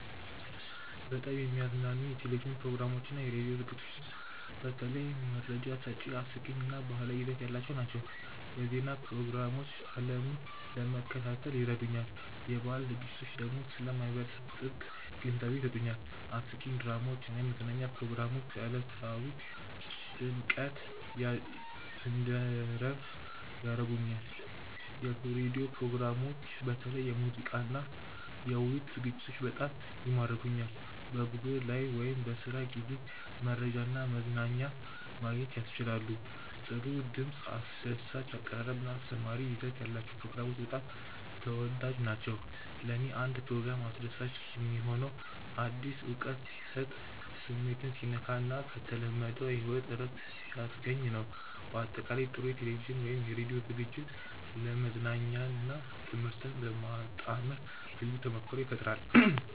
በጣም የሚያዝናኑኝ የቴሌቪዥን ፕሮግራሞችና የራዲዮ ዝግጅቶች በተለይ መረጃ ሰጪ፣ አስቂኝ እና ባህላዊ ይዘት ያላቸው ናቸው። የዜና ፕሮግራሞች ዓለምን ለመከታተል ይረዱኛል፣ የባህል ዝግጅቶች ደግሞ ስለ ማህበረሰብ ጥልቅ ግንዛቤ ይሰጡኛል። አስቂኝ ድራማዎች እና የመዝናኛ ፕሮግራሞች ከዕለታዊ ጭንቀት እንድረፍ ያደርጉኛል። የራዲዮ ፕሮግራሞችም በተለይ የሙዚቃና የውይይት ዝግጅቶች በጣም ይማርኩኛል። በጉዞ ላይ ወይም በስራ ጊዜ መረጃና መዝናኛ ማግኘት ያስችላሉ። ጥሩ ድምፅ፣ አስደሳች አቀራረብ እና አስተማሪ ይዘት ያላቸው ፕሮግራሞች በጣም ተወዳጅ ናቸው። ለእኔ አንድ ፕሮግራም አስደሳች የሚሆነው አዲስ እውቀት ሲሰጥ፣ ስሜትን ሲነካ እና ከተለመደው ሕይወት እረፍት ሲያስገኝ ነው። በአጠቃላይ፣ ጥሩ የቴሌቪዥን ወይም የራዲዮ ዝግጅት መዝናኛንና ትምህርትን በማጣመር ልዩ ተሞክሮ ይፈጥራል